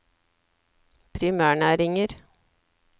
primærnæringer